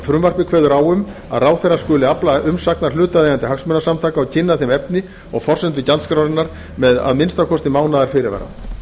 frumvarpið kveður á um að ráðherra skuli afla umsagnar hlutaðeigandi hagsmunasamtaka og kynna þeim efni og forsendu gjaldskrárinnar með að minnsta kosti mánaðarfyrirvara